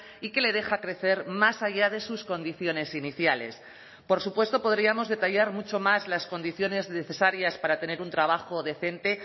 y que le deja crecer más allá de sus condiciones iniciales por supuesto podríamos detallar mucho más las condiciones necesarias para tener un trabajo decente